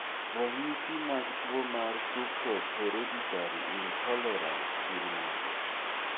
Ranyisi mag tuwo mar tuwo mar fructose hereditary intolerance gin mage?